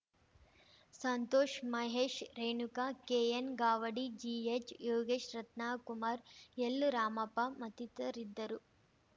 ಸಂತೋಷ್‌ ಮಹೇಶ್‌ ರೇಣುಕಾ ಕೆಎನ್‌ಗಾವಡಿ ಜಿಎಚ್‌ಯೋಗೀಶ್‌ ರತ್ನಕುಮಾರ್‌ ಎಲ್‌ರಾಮಪ್ಪ ಮತ್ತಿತರಿದ್ದರು